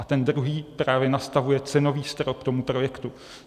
A ten druhý právě nastavuje cenový strop tomu projektu.